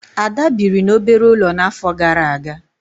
Ada biri n'obere ulo n'afo gara aga